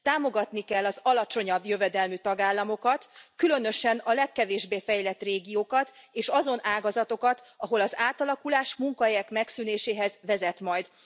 Támogatni kell az alacsonyabb jövedelmű tagállamokat, különösen a legkevésbé fejlett régiókat és azon ágazatokat, ahol az átalakulás munkahelyek megszűnéséhez vezet majd.